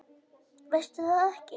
Veistu það ekki?